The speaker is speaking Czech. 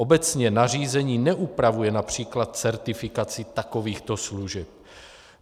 Obecně nařízení neupravuje například certifikaci takovýchto služeb.